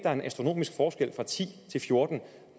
er en astronomisk forskel fra ti til fjortende